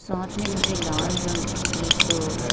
साथ में मुझे लाल रंग की एक--